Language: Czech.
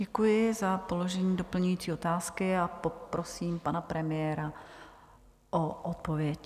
Děkuji za položení doplňující otázky a poprosím pana premiéra o odpověď.